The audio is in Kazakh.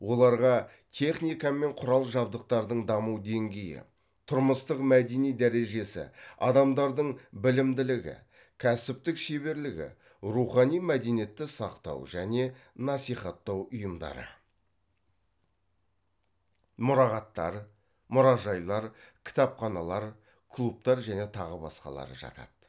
оларға техника мен құрал жабдықтардың даму деңгейі тұрмыстық мәдени дәрежесі адамдардың білімділігі кәсіптік шеберлігі рухани мәдениетті сақтау және насихаттау ұйымдары мұрағаттар мұражайлар кітапханалар клубтар және тағы басқалары жатады